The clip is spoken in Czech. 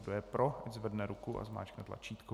Kdo je pro, ať zvedne ruku a zmáčkne tlačítko.